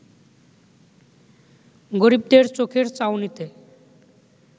গরিবদের চোখের চাউনিতে